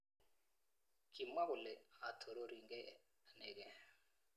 Kimwa kole 'atororigei anegei.'